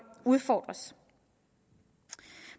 udfordres